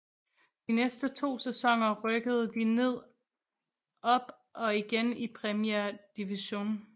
De næste to sæsoner rykkede de ned op og igen i Premier Division